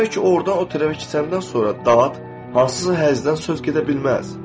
Yemək ki, ordan o tərəfə keçəndən sonra dad, hansısa həzzdən söz gedə bilməz.